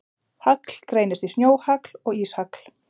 Hagl greinist í snjóhagl og íshagl.